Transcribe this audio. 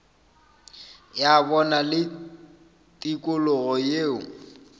ya bona le tikologo yeo